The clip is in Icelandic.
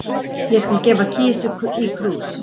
Ég skal gefa kisu í krús